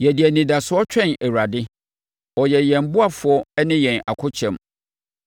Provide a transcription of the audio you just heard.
Yɛde anidasoɔ twɛn Awurade; ɔyɛ yɛn ɔboafoɔ ne yɛn akokyɛm.